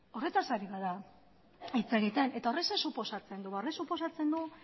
horretaz ari gara hitz egiten eta horrek zer suposatzen du horrek suposatzen du